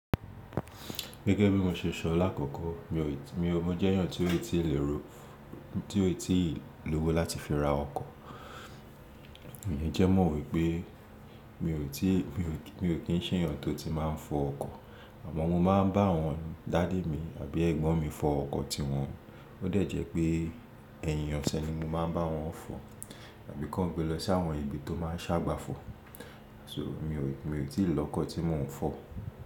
Gẹ́gẹ́ bí mo ṣe sọ lákòókò, mo jẹ́ èèyàn tí ó tí ì lówó láti fi ra ọkọ̀. Ǹjẹ́ mó wípé mi ò kín ń ṣe èèyàn tó ti máa ń fọ ọkọ̀, àmọ́ mo máa ń bá àwọn daddy mi àbí ẹ̀gbọ́n mi fọ ọkọ̀ tí wọn. Ó dẹ̀ jẹ́ pé ẹ̀yìn ọ̀sẹ̀ ni mo máa ń bá wọn fọ tàbí kó gbé lọ sí àwọn ibi tó máa ń sábà fọ. Aṣọ mi ò tí ì lọ́kọ̀ tí mò ń fọ.